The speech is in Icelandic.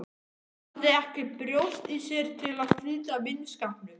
Hafði ekki brjóst í sér til að slíta vinskapnum.